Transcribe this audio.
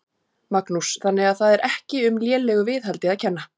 Magnús: Þannig að það er ekki um lélegu viðhaldi að kenna?